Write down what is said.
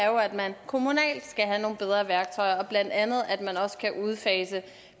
jo at man kommunalt skal have nogle bedre værktøjer blandt andet at man også kan udfase